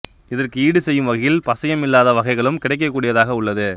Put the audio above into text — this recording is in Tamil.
இதற்கு ஈடு செய்யும் வகையில் பசையம் இல்லாத வகைகளும் கிடைக்கக்கூடியதாக உள்ளது